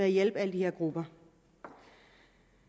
hjælpe alle de her grupper